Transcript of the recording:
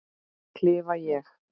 klifa ég.